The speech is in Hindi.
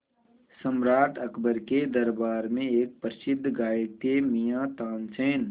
सम्राट अकबर के दरबार में एक प्रसिद्ध गायक थे मियाँ तानसेन